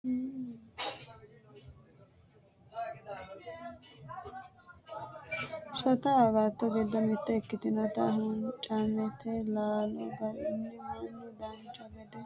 shota agatto giddo mitte ikkitinota huuncammete laalo aganni mannu dancha gede biiffanno basera ofolle hattono barcimma biifinse loonseenna jawa fano no